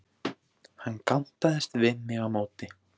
Hann gantaðist við mig á móti.